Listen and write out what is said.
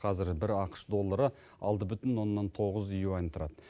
қазір бір ақш доллары алты бүтін оннан тоғыз юань тұрады